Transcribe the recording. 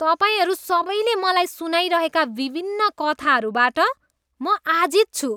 तपाईँहरू सबैले मलाई सुनाइरहेका विभिन्न कथाहरूबाट म आजित छु।